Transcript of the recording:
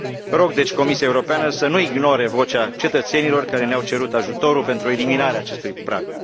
Rog, deci, Comisia Europeană să nu ignore vocea cetățenilor care ne au cerut ajutorul pentru eliminarea acestui prag.